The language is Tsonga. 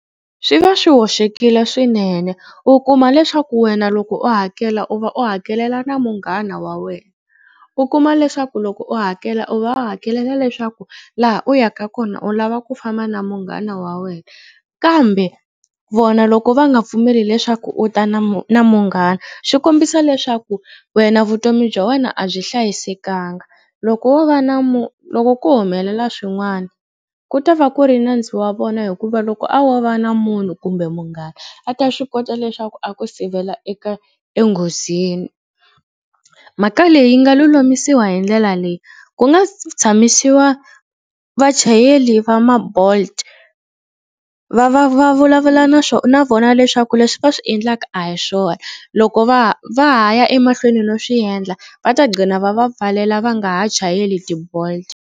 Swi va swi hoxekile swinene u kuma leswaku wena loko u hakela u va u hakelela na munghana wa wena. U kuma leswaku loko u hakela u va u hakelela leswaku laha u yaka kona u lava ku famba na munghana wa wena kambe vona loko va nga pfumeli leswaku u ta na na munghana swi kombisa leswaku wena vutomi bya wena a byi hlayisekangi. Loko wo va na loko ko humelela swin'wana ku ta va ku ri nandzu wa vona hikuva loko a wo va na munhu kumbe munghana a ta swi kota leswaku a ku sivela eka enghozini. Mhaka leyi yi nga lulamisiwa hi ndlela leyi ku nga tshamisiwa vachayeri va ma bolt va va va vulavula na na vona leswaku leswi va swi endlaka a hi swona. Loko va va ha ya emahlweni no swi endla va ta gcina va va pfalela va nga ha chayeli ti-bolt.